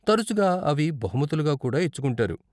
తరచుగా అవి బహుమతులుగా కూడా ఇచ్చుకుంటారు.